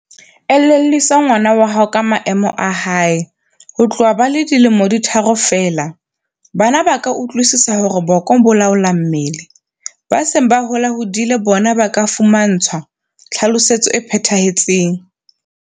Elellwisa ngwana hao ka maemo a hae. Ho tloha ba le dilemo di tharo feela, bana ba ka utlwisisa hore boko bo laola mmele. Ba seng ba holahodile bona ba ka fumantshwa tlhalosetso e phethahetseng.